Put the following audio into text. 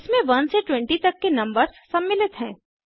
इसमें 1 से 20 तक के नंबर्स सम्मिलित हैं